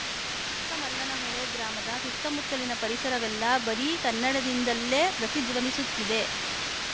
ಚಿಕ್ಕಮಲ್ಲನಹೊಳೆ ಗ್ರಾಮದ ಸುತ್ತಮುತ್ತಲಿನ ಪರಿಸರವೆಲ್ಲಾ ಬರೀ ಕನ್ನಡದಿಂದಲ್ಲೇ ಪ್ರತಿಧ್ವನಿಸುತ್ತಿದೆ